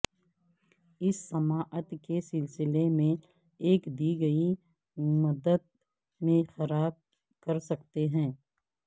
اس سماعت کے سلسلے میں ایک دی گئی مدت میں خراب کر سکتے ہیں